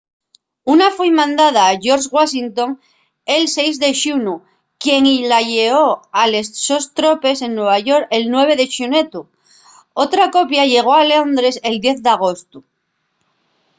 una foi mandada a george washington el 6 de xunu quien-y la lleó a les sos tropes en nueva york el 9 de xunetu otra copia llegó a londres el 10 d'agostu